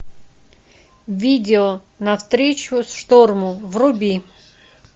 видео навстречу шторму вруби